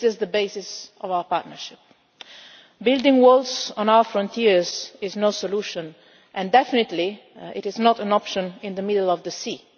This is the basis of our partnership. Building walls on our frontiers is no solution, and it definitely is not an option in the middle of the sea.